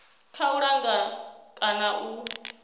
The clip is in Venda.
kha u langa kana u